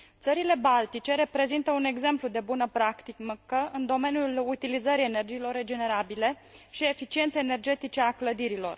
Țările baltice reprezintă un exemplu de bună practică în domeniul utilizării energiilor regenerabile și eficienței energetice a clădirilor.